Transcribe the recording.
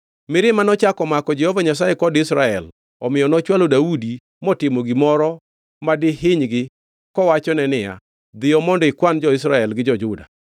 Mirima nochako omako Jehova Nyasaye kod Israel omiyo nochwalo Daudi motimo gimoro madihinygi, kowachone niya, “Dhiyo mondo ikwan jo-Israel gi jo-Juda.”